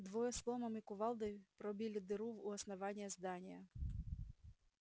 двое с ломом и кувалдой пробили дыру у основания здания